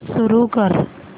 सुरू कर